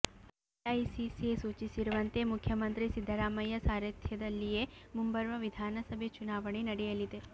AICC ಸೂಚಿಸಿರುವಂತೆ ಮುಖ್ಯಮಂತ್ರಿ ಸಿದ್ದರಾಮಯ್ಯ ಸಾರಥ್ಯದಲ್ಲಿಯೇ ಮುಂಬರುವ ವಿಧಾನಸಭೆ ಚುನಾವಣೆ ನಡೆಯಲಿದೆ